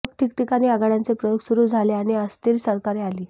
मग ठिकठिकाणी आघाड्यांचे प्रयोग सुरू झाले आणि अस्थिर सरकारे आली